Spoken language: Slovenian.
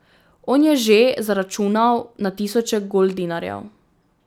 On je že zaračunal na tisoče goldinarjev.